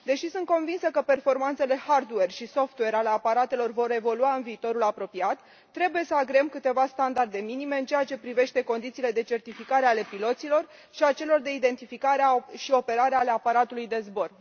Deși sunt convinsă că performanțele hardware și software ale aparatelor vor evolua în viitorul apropiat, trebuie să agreăm câteva standarde minime în ceea ce privește condițiile de certificare a piloților și de identificare și operare a aparatului de zbor.